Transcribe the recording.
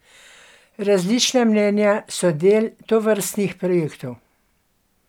Različna mnenja so del tovrstnih projektov.